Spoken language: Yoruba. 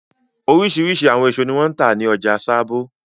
Oríṣiríṣi àwọn èso ni wọ́n ń tà ní ọjà Sábó.